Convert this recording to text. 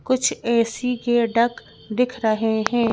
कुछ A_ C_ के duct दिख रहे हैं।